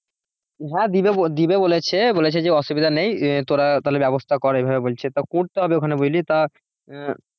হ্যাঁ দেবে বলে দিবে বলেছে বলেছে যে অসুবিধা নাই তোরা তাহলে ব্যবস্থা কর ঐভাবে বলছে তা করতে হবে ওইখানে বুঝলি তা আহ ।